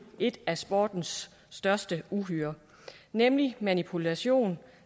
et af sportens største uhyrer nemlig manipulation